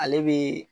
Ale bɛ